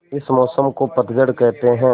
इस मौसम को पतझड़ कहते हैं